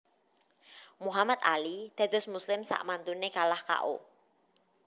Muhammad Ali dados muslim sakmantune kalah K O